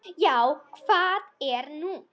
Já, hvað er nú?